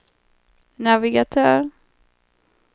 navigatör